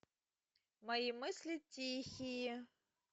мои мысли тихие